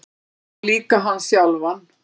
Já, líka hann sjálfan.